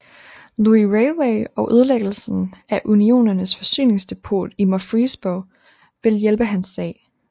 Louis Railway og ødelæggelsen af Unionens forsyningsdepot i Murfreesboro ville hjælpe hans sag